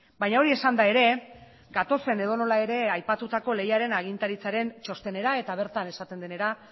baina hori esanda ere gatozen edonola ere aipatutako lehiaren agintaritzaren txostenera eta bertan esaten denera